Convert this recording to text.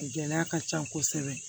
Gɛlɛya ka ca kosɛbɛ